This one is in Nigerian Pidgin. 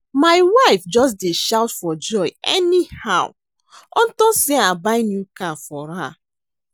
My wife just dey shout for joy anyhow unto say I buy new car for her